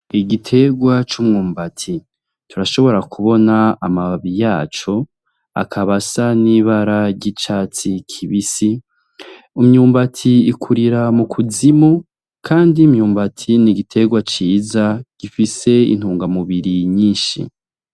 Igiterwa c'umwumbati. Turashobora kubona amababi yaco, akaba asa n'ibara ry'icatsi kibisi, imyumbati ikurira mukuzimu, kandi imyumbati ni igiterwa ciza, gifise intungamubiri nyinshi.